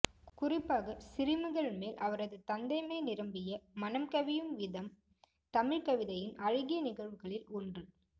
குறிப்பாக சிறுமிகள் மேல் அவரது தந்தைமை நிரம்பிய மனம் கவியும் விதம் தமிழ்க் கவிதையின் அழகிய நிகழ்வுகளில் ஒன்று